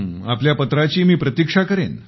आपल्या पत्राची मी प्रतीक्षा करेन